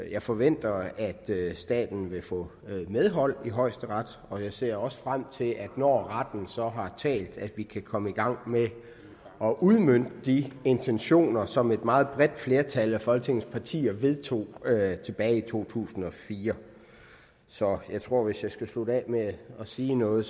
jeg forventer at staten vil få medhold i højesteret og jeg ser også frem til når retten så har talt at vi kan komme i gang med at udmønte de intentioner som et meget bredt flertal af folketingets partier vedtog tilbage i to tusind og fire så jeg tror at hvis jeg skal slutte af med at sige noget